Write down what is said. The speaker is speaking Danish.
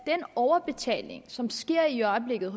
den overbetaling som sker i øjeblikket